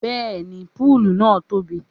Bẹ́ẹ̀ni púùlù náà tóbi